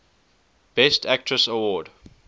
best actress award